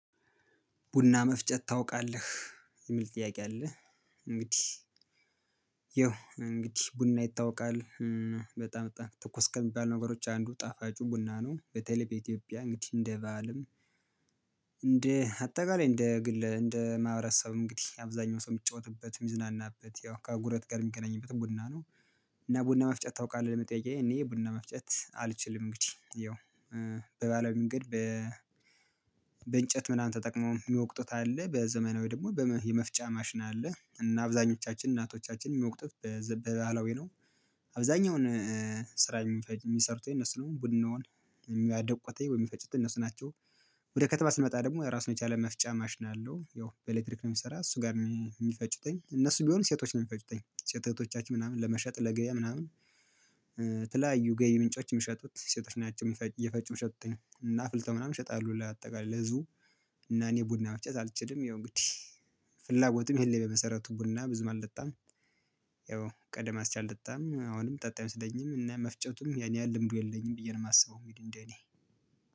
ቡና መፍጨት ታውቃለህ የሚል ጥያቄ አለ? እንግዲህ ይኸው እንግዲህ ቡና ይታወቃል በጣም ትኩስ ከሚባሉ ነገሮች አንዱ ጣፋጩ ቡና ነው በተለይ በኢትዮጵያ እንግዲህ እንደ ባህልም እንደ አጠቃላይ እንደ ግል እንደ ማህበረሰብ እንግዲህ አብዛኛው ሰው የሚጫወትበት የሚዝናናበት ያው ከጉረቤት ጋር የሚገናኝበት ቡና ነው። እና ቡና መፍጨት ታውቃለህ ለመጠየቅ እኔ ቡና መፍጨት አልችልም። እንግዲህ ያው በባህላዊ መንገድ በ ምናምን ተጠቅሞ የሚወቅጡት አለ በዘመናዊ ደግሞ በመ የመፍጫ ማሽን አለ እና አብዛኞቻችን እናቶቻችን የሚወቅጡት በባህላዊ ነው። አብዛኛውን ስራ የሚፈ የሚሰሩት እነሱ ነው ቡናውን የሚያደቁትይ ወይም የሚፈጩት እነሱ ናቸው። ወደ ከተማ ስንመጣ ደግሞ ራሱን የቻለ መፍጫ ማሽን አለው ያው በኤሌክትሪክ ነው የሚሰራ እሱ ጋር ሚ የሚፈጩትኝ እነሱ ቢሆን ሴቶች ነው የሚፈጭትኝ ሴት እህቶቻችን ምናምን ለመሸጥ ለገበያ ምናምን ተለያዩ ገቢ ምንጮችን ሚሸጡት ሴቶች ናቸው ሚፈጩ የፈጩ ሚሸጡትኝ እና አፍልተው ምናምን ይሸጣሉ ለአጠቃላይ ለህዝቡ። እና እኔ ቡና መፍጨት አልችልም ይሄው እንግዲህ ፍላጎትም ይሄን በመሰረቱ ቡና ብዙም አልለጣም። ያው ቀደም አንስቼ አልጠጣም አሁንም ምጠጣ አይመስለኝም እና መፍጨቱም ያን ያህል ልምዱ የለኝም ብዬ ነው የማስበው። እንግዲ እኔ